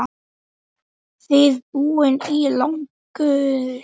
Þið búið í landi guðs.